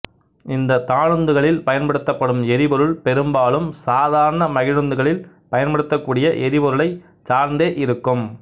இந்த தானுந்துகளில் பயன்படுத்தப்படும் எரிபொருள் பெரும்பாலும் சாதாரண மகிழுந்துகளில் பயன்படுத்தக்கூடிய எரிபொருளை சார்ந்தே இருக்கும்